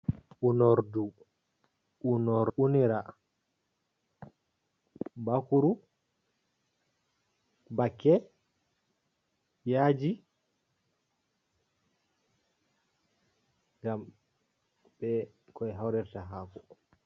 U'nordu u'nor u'rina bakuru, bake, yaaji, ngam be ko behawrirrta hako.